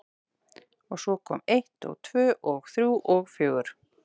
Og svo kom eitt og tvö og þrjú og fjögur.